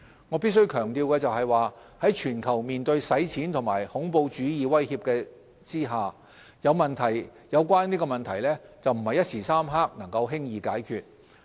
我必須強調的是，在全球面對洗錢和恐怖主義威脅的情況下，有關問題不是一時三刻能夠輕易解決。